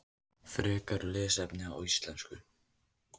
Frekara lesefni á íslensku: